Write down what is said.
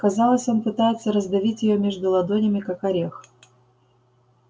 казалось он пытается раздавить её между ладонями как орех